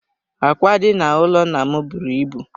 Ákwá dị n'ụlọ nna m buru ibu.